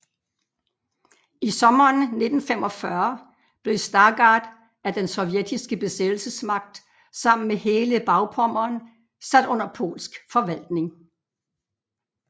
I sommeren 1945 blev Stargard af den sovjetiske besættelsesmagt sammen med hele Bagpommern sat under polsk forvaltning